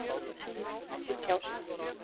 Má ekki tjá sig